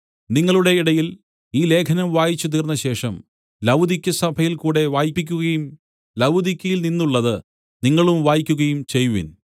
നിങ്ങളുടെ ഇടയിൽ ഈ ലേഖനം വായിച്ച് തീർന്നശേഷം ലവുദിക്യസഭയിൽ കൂടെ വായിപ്പിക്കുകയും ലവുദിക്യയിൽനിന്നുള്ളത് നിങ്ങളും വായിക്കുകയും ചെയ്‌വിൻ